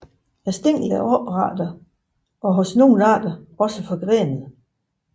Stænglerne er oprette og hos nogle arter også forgrenede